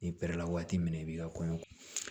N'i pɛrɛ la waati min na i b'i ka kɔɲɔ